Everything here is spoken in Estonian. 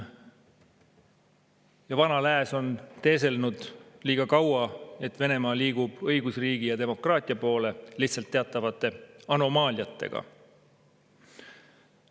Ja vana lääs on teeselnud liiga kaua, et Venemaa liigub õigusriigi ja demokraatia poole, lihtsalt teatavate anomaaliatega.